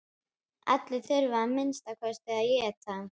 Allir þurfa að minnsta kosti að éta.